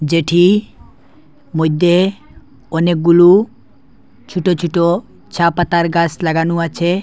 যেটি মইদ্যে অনেকগুলো ছোট ছোট চা পাতার গাস লাগানো আছে।